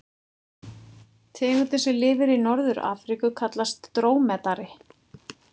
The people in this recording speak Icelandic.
Tegundin sem lifir í Norður-Afríku kallast drómedari.